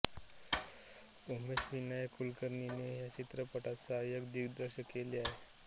उमेश विनायक कुलकर्णीने ह्या चित्रपटात सहाय्यक दिग्दर्शन केले आहे